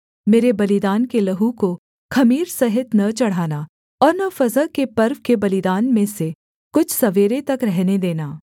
मेरे बलिदान के लहू को ख़मीर सहित न चढ़ाना और न फसह के पर्व के बलिदान में से कुछ सवेरे तक रहने देना